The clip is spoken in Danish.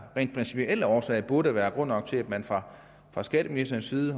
rent principielle årsager burde være grund nok til at man fra skatteministerens side